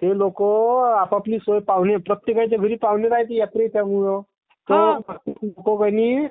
त्ये लोकं...आपापपली सोय is not clear प्रत्येकाच्या घरी पाहुणे येत्येगो...सगळोना